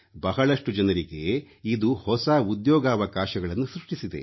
ಬಹಳಷ್ಟು ಜನರಿಗೆ ಇದು ಹೊಸ ಉದ್ಯೋಗಾವಕಾಶಗಳನ್ನು ಸೃಷ್ಟಿಸಿದೆ